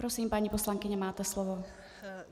Prosím, paní poslankyně, máte slovo.